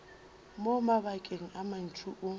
mo mabakeng a mantši o